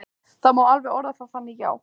Það má alveg orða það þannig, já.